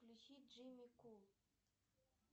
включи джимми кул